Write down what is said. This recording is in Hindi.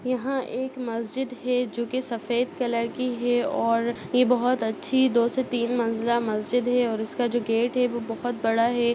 यहाँ एक मस्जिद है जोकि सफेद कलर की है और ये बहुत अच्छी दो से तीन मंजिला मस्जिद है और उसका जो गेट हैवह बहुत बड़ा हैं।